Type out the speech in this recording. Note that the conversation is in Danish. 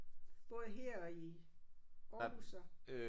Bor I her i Aarhus så